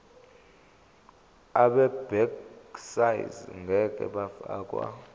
abegcis ngeke bafakwa